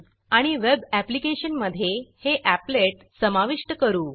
आणि web application मधे हे एपलेट अपलेट समाविष्ट करू